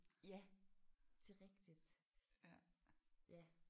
Ja det er rigtigt!